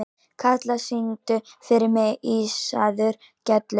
Karla, syngdu fyrir mig „Ísaðar Gellur“.